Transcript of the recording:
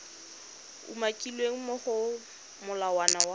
umakilweng mo go molawana wa